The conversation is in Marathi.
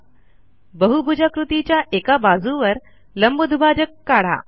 बाजू5 बहुभुजाकृतीच्या एका बाजूवर लंब दुभाजक काढा